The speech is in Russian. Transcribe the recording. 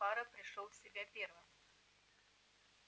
фара пришёл в себя первым